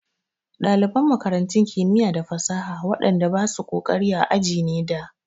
Ɗaliban makarantun kimiya da fasaha waɗan da basu ƙoƙari a aji ne da.